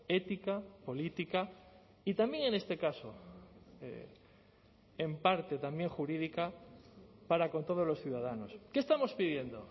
ética política y también en este caso en parte también jurídica para con todos los ciudadanos qué estamos pidiendo